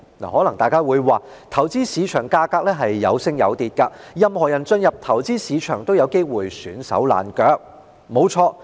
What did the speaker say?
可能大家會說，投資市場價格可升可跌，任何人進入投資市場都有機會"損手爛腳"。